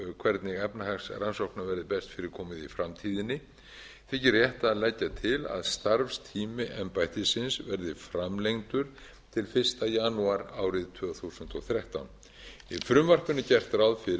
hvernig efnahagsrannsóknum verði best fyrir komið í framtíðinni þykir rétt að leggja til að starfstími embættisins verði framlengdur til fyrsta janúar árið tvö þúsund og þrettán í frumvarpinu er gert ráð fyrir